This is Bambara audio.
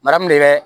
Bara mun de bɛ